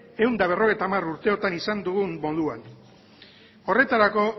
ehun eta berrogeita hamar urte hauetan izan dugun moduan horretarako